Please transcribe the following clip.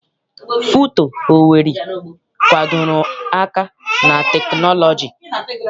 FUTO Owerri gbadoro aka na teknọlọji.